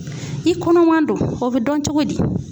I kɔnɔman don o be dɔn cogo di?